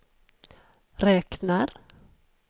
räknar